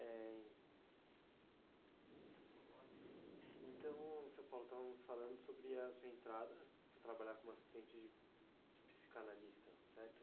Eh...amos lá?ntão, seu, estávamos falando sobre a sua entrada para trabalhar como assistente de, de psicanalista, certo?